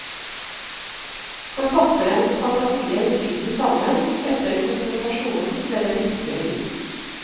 Forfatterens fantasier bryter sammen, etter konfrontasjonen med det virkelige liv.